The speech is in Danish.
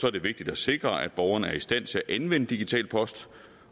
er det vigtigt at sikre at borgeren er i stand til at anvende digital post